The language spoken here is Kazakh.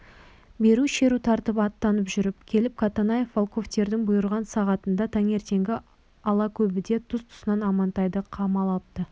бәрі шеру тартып аттанып жүріп келіп катанаев волковтердің бұйырған сағатында таңертеңгі алакөбеде тұс-тұсынан амантайды қамап алыпты